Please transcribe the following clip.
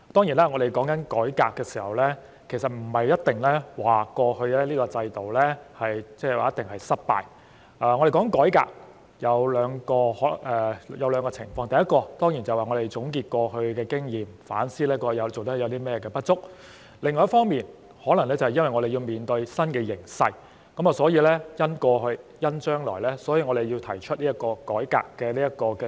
談及改革，其實不是指過去這個制度一定是失敗，談改革可以有兩個情況，第一，當然是要總結過去經驗，反思過去有甚麼做得不足的地方；另一方面，可能是面對新形勢，故此要因應過去和將來，提出改革問責制。